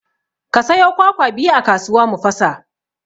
Ka sayo kwakwa biyu a kasuwa mu fasa